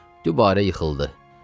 dubara yıxıldı.